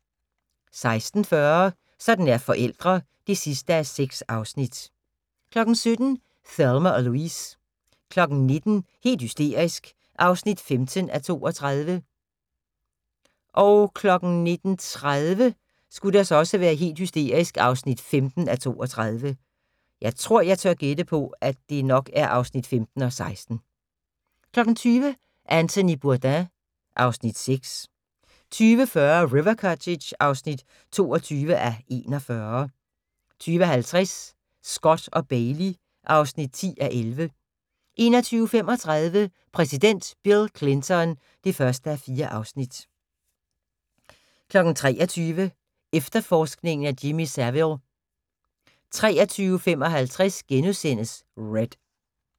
16:40: Sådan er forældre (6:6) 17:00: Thelma og Louise 19:00: Helt hysterisk (15:32) 19:30: Helt hysterisk (15:32) 20:00: Anthony Bourdain ... (Afs. 6) 20:40: River Cottage (22:41) 20:50: Scott & Bailey (10:11) 21:35: Præsident Bill Clinton (1:4) 23:00: Efterforskningen af Jimmy Savile 23:55: Red *